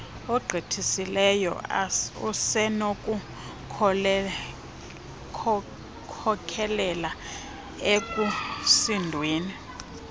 ogqithisileyo usenokukhokelela ekusindweni